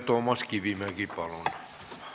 Toomas Kivimägi, palun!